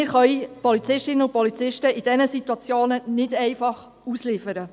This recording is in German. Wir können die Polizistinnen und Polizisten in diesen Situationen nicht einfach ausliefern.